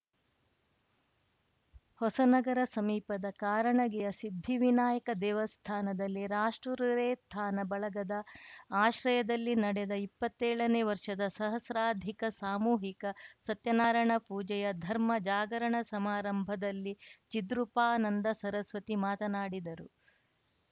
ಹೊಸನಗರ ಸಮೀಪದ ಕಾರಣಗಿರಿಯ ಸಿದ್ಧಿವಿನಾಯಕ ದೇವಸ್ಥಾನದಲ್ಲಿ ರಾಷ್ಟ್ರೋರೇತ್ಥಾನ ಬಳಗದ ಆಶ್ರಯದಲ್ಲಿ ನಡೆದ ಇಪ್ಪತ್ತೇಳನೇ ವರ್ಷದ ಸಹಸ್ರಾಧಿಕ ಸಾಮೂಹಿಕ ಸತ್ಯನಾರಾಯಣ ಪೂಜೆಯ ಧರ್ಮಜಾಗರಣ ಸಮಾರಂಭದಲ್ಲಿ ಚಿದ್ರೂಪಾನಂದ ಸರಸ್ವತಿ ಮಾತನಾಡಿದರು